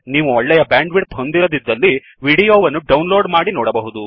ನೀವು ಒಳ್ಳೆಯ ಬ್ಯಾಂಡ್ವಿ್ಡ್ತ್ ಹೊಂದಿರದಿದ್ದಲ್ಲಿ ವಿಡಿಯೋ ವನ್ನು ಡೌನ್ಲೋiಡ್ ಮಾಡಿ ನೋಡಬಹುದು